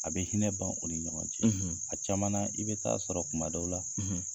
A bɛ hinɛ ban o ni ɲɔgɔn cɛ a caman i bɛ taa sɔrɔ kuma dɔw la.